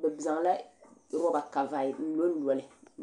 bɛ zaŋla loba n lonloli.